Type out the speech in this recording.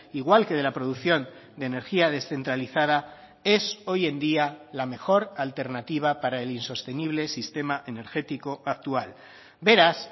igual que de la producción de energía descentralizada es hoy en día la mejor alternativa para el insostenible sistema energético actual beraz